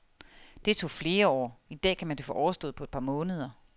Det tog flere år, i dag kan man få det overstået på et par måneder.